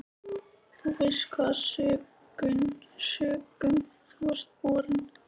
Þú veist hvaða sökum þú ert borinn.